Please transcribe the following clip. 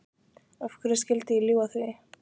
Af hverju skyldi ég ljúga því?